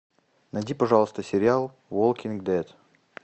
найди пожалуйста сериал уолкинг дэд